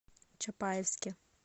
чапаевске